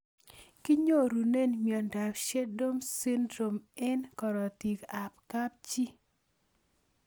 Kinyorune miondop Sneddon syndrome eng' karotik ab kapchii